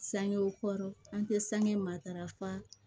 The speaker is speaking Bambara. Sangew kɔrɔ an tɛ sange matarafa